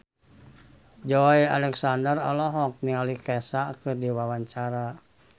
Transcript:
Joey Alexander olohok ningali Kesha keur diwawancara